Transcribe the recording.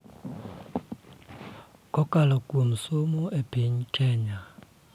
Kokalo kuom somo e piny Kenya.